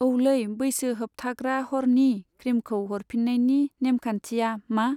औलै बैसो होबथाग्रा हरनि क्रिमखौ हरफिन्नायनि नेमखान्थिया मा?